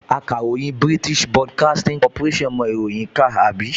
Akàròyìn BBC mọ ìròyìn kà, àbí?